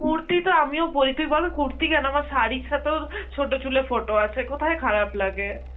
কুর্তি তো আমিও পরি, তুই বল কুর্তি কেন আমার শাড়ির সাথেও ছোট চুলে photo আছে, কোথায় খারাপ লাগে?